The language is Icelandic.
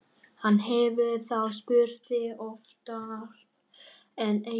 Hann hefur þá spurt þig oftar en einu sinni?